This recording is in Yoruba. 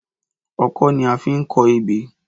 Ọkọ́ ni a fi ń kọ ebè